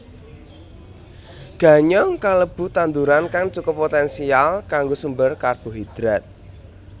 Ganyong kalebu tanduran kang cukup poténsial kanggo sumber karbohidrat